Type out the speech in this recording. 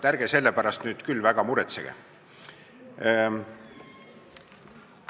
Ärge selle pärast nüüd küll väga muretsege!